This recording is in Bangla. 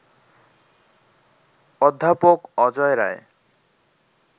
অধ্যাপক অজয় রায়